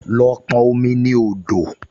Lọ pọn omi ní odò!